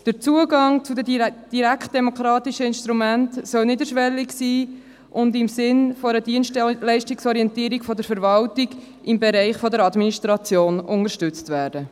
Der Zugang zu den direktdemokratischen Instrumenten soll niederschwellig sein und im Sinn einer Dienstleistungsorientierung von der Verwaltung im Bereich der Administration unterstützt werden.